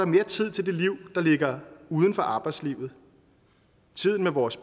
mere tid til det liv der ligger uden for arbejdslivet tiden med vores